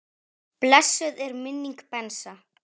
Blessuð sé minning Bensa.